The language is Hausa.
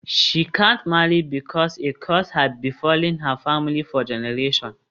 She can't marry because a curse had befallen her family for generations.